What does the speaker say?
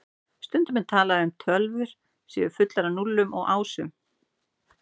Stundum er talað um að tölvur séu fullar af núllum og ásum.